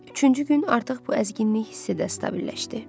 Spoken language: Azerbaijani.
Üçüncü gün artıq bu əzginlik hiss edə sabitləşdi.